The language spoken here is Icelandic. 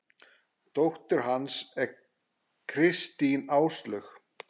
Dóttir hans er Kristín Áslaug.